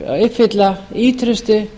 uppfylla ýtrustu